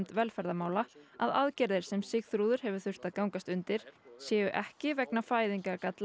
velferðarmála að aðgerðir sem Sigþrúður hefur þurft að gangast undir séu ekki vegna